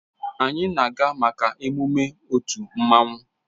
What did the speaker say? Anyị na-aga maka emume otu mmanwụ